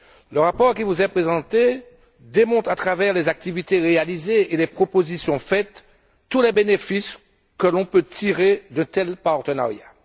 Le rapport qui vous est présenté démontre par les activités réalisées et les propositions faites tous les bénéfices que l'on peut tirer d'un tel partenariat.